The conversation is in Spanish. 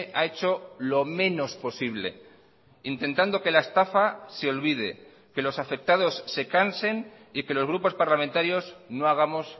ha hecho lo menos posible intentando que la estafa se olvide que los afectados se cansen y que los grupos parlamentarios no hagamos